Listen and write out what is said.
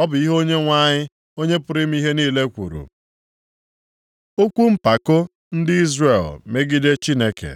Ọ bụ ihe Onyenwe anyị, Onye pụrụ ime ihe niile kwuru. Okwu mpako ndị Izrel megide Chineke